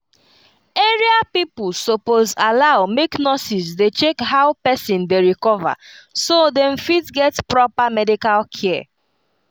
area pipo suppose allow make nurses dey check how person dey recover so dem fit get proper medical care